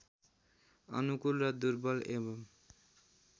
अनुकूल र दुर्बल एवं